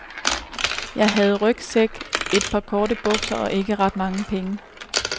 Jeg havde rygsæk, et par korte bukser og ikke ret mange penge.